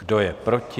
Kdo je proti?